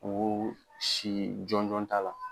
Ko' si jɔnjɔn t'a la.